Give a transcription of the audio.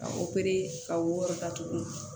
Ka ka wɔrɔ ta tugunni